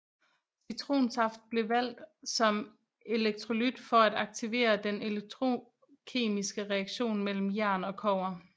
Citronsaft blev valgt som elektrolyt for at aktivere den elektrokemiske reaktion mellem jern og kobber